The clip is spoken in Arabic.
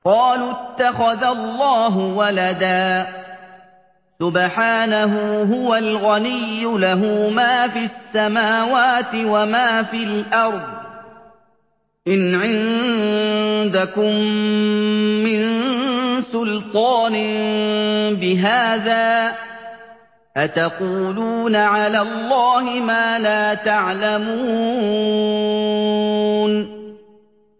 قَالُوا اتَّخَذَ اللَّهُ وَلَدًا ۗ سُبْحَانَهُ ۖ هُوَ الْغَنِيُّ ۖ لَهُ مَا فِي السَّمَاوَاتِ وَمَا فِي الْأَرْضِ ۚ إِنْ عِندَكُم مِّن سُلْطَانٍ بِهَٰذَا ۚ أَتَقُولُونَ عَلَى اللَّهِ مَا لَا تَعْلَمُونَ